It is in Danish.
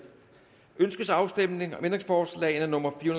ønskes afstemning om ændringsforslag nummer fire